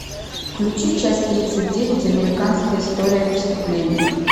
включи часть тридцать девять американская история преступлений